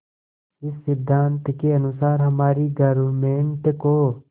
इस सिद्धांत के अनुसार हमारी गवर्नमेंट को